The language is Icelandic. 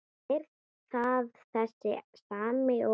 Er það þessi sami og.